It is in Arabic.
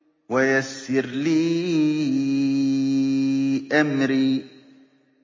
وَيَسِّرْ لِي أَمْرِي